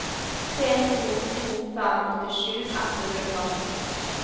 tre to to fem åttisju ett hundre og femten